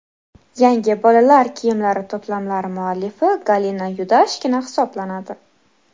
Yangi bolalar kiyimlari to‘plamlari muallifi Galina Yudashkina hisoblanadi.